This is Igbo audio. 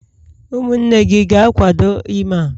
umunne gi ga-akwado ime a?